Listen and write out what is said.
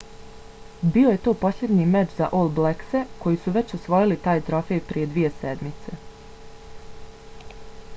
bio je to posljednji meč za all blackse koji su već osvojili taj trofej prije dvije sedmice